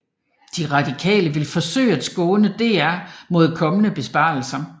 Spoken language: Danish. De Radikale vil forsøge at skåne DR mod kommende besparelser